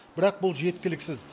бірақ бұл жеткіліксіз